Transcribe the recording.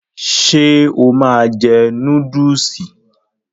Ṣe o máa jẹ núdúùsì?